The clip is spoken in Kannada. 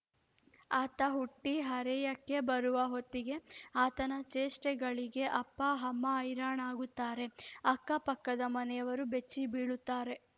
ಆತ ಹುಟ್ಟಿ ಹರೆಯಕ್ಕೆ ಬರುವ ಹೊತ್ತಿಗೆ ಆತನ ಚೇಷ್ಟೆಗಳಿಗೆ ಅಪ್ಪ ಅಮ್ಮ ಹೈರಾಣಾಗುತ್ತಾರೆ ಅಕ್ಕಪಕ್ಕದ ಮನೆಯವರು ಬೆಚ್ಚಿ ಬೀಳುತ್ತಾರೆ